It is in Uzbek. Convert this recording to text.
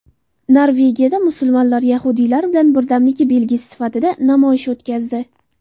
Norvegiyada musulmonlar yahudiylar bilan birdamligi belgisi sifatida namoyish o‘tkazdi.